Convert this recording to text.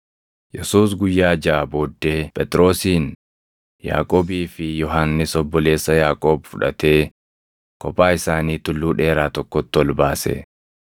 Yesuus guyyaa jaʼa booddee Phexrosin, Yaaqoobii fi Yohannis obboleessa Yaaqoob fudhatee kophaa isaanii tulluu dheeraa tokkotti ol baase.